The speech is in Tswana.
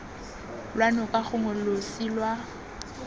lwa noka gongwe losi lwa